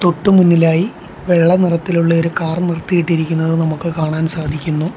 തൊട്ടു മുന്നിലായി വെള്ള നിറത്തിലുള്ള ഒരു കാർ നിർത്തിയിട്ടിരിക്കുന്നത് നമുക്ക് കാണാൻ സാധിക്കുന്നു.